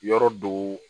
Yɔrɔ do